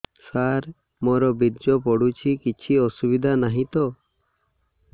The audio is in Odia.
ସାର ମୋର ବୀର୍ଯ୍ୟ ପଡୁଛି କିଛି ଅସୁବିଧା ନାହିଁ ତ